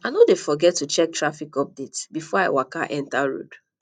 i no dey forget to check traffic update before i waka enta road